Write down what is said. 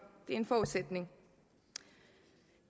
det er en forudsætning